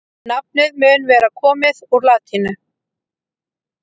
nafnið mun vera komið úr latínu